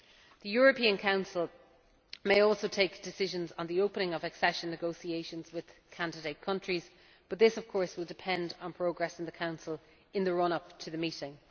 The European Council may also take decisions on the opening of accession negotiations with candidate countries, but this will of course depend on progress in the Council in the run up to the meeting.